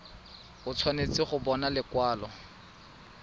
o tshwanetse go bona lekwalo